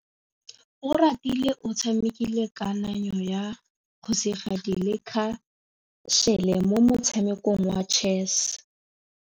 Oratile o tshamekile kananyô ya kgosigadi le khasêlê mo motshamekong wa chess.